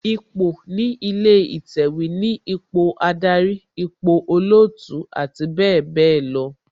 Ipò ní ilé ìtẹ̀wẹ̀ ni ipò Ádárì, ipò olootu abbl.